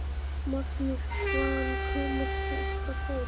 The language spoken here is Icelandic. Magnús: Hvaðan kemur þetta fólk?